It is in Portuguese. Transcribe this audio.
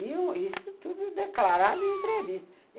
Isso tudo declarado em entrevista.